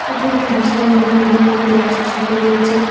এটি একটি বিশাল নদী নদীর মধ্যে বাঁশের সাঁকো রয়েছে।